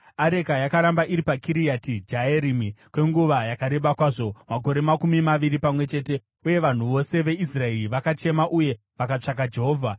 Areka yakaramba iri paKiriati Jearimi kwenguva yakareba kwazvo, makore makumi maviri pamwe chete, uye vanhu vose veIsraeri vakachema uye vakatsvaka Jehovha.